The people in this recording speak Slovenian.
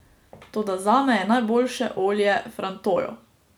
Toda zame je najboljše olje frantoio.